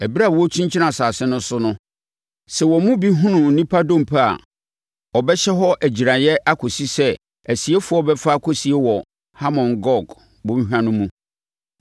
Ɛberɛ a wɔrekyinkyin asase no so no, sɛ wɔn mu bi hunu onipa dompe a, ɔbɛhyɛ hɔ agyiraeɛ akɔsi sɛ asiefoɔ bɛfa akɔsie wɔ Hamon Gog bɔnhwa no mu.